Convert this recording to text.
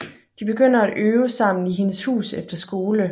De begynder at øve sammen i hendes hus efter skole